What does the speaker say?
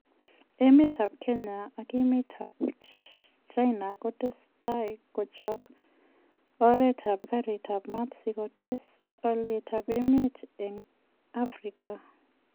Emet ab Kenya ak emet ab China kotesetai kuchobe oret ab kariit ab maat si kotees olyet ab sobeet en Afrika.